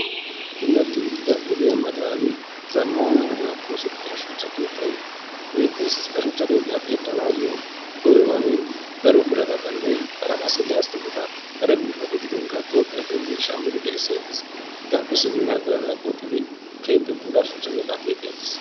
Puulatti uttidda oggiyaa matani zamanna ogiyaani oosettidda shuchcha keettay beettes. Ha shuchcha keetta keexanayoo koyiro daro biratattanne hara qasi lastiqqetta kare biittappe gidinkka Tophhiyaappe gidinshamiddi gelisettes. Heggappe simmin ha biratta qoxiddi keehippe puulla shuchcha keetta keexettes